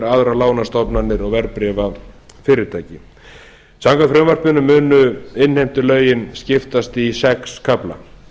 sparisjóðir aðrar lánastofnanir og verðbréfafyrirtæki samkvæmt frumvarpinu munu innheimtulögin skiptast í sex kafla